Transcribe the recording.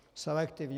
Selektivně.